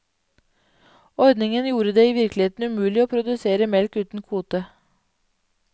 Ordningen gjorde det i virkeligheten umulig å produsere melk uten kvote.